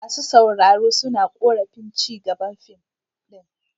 Masu sauraro suna korafin ci gaban fim din.